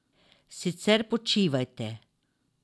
Sicer počivajte.